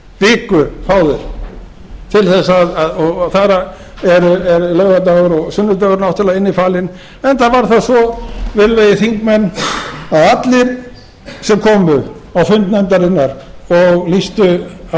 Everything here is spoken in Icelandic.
viku fá þeir til þess og þar af er laugardagur og sunnudagur náttúrlega innifalinn enda var það svo virðulegir þingmenn að allir sem komu á fund nefndarinnar og lýstu